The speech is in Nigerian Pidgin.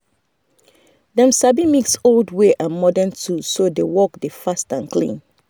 dem sabi mix old way and modern tools so the work dey fast and clean.